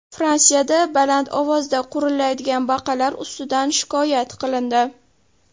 Fransiyada baland ovozda qurillaydigan baqalar ustidan shikoyat qilindi.